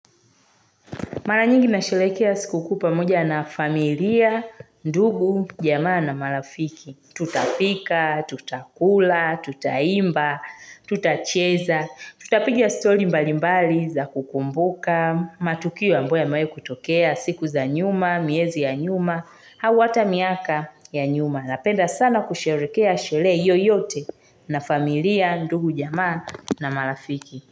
Mara nyingi na sherehekea siku kuu pamoja na familia, ndugu, jamaa na marafiki. Tutapika, tutakula, tutaimba, tutacheza, tutapigi stori mbali mbali za kukumbuka, matuko ambayo yamawahi kutokea, siku za nyuma, miezi ya nyuma, au hata miaka ya nyuma. Napenda sana kusherehekea sherehe yoyote na familia, ndugu, jamaa na marafiki.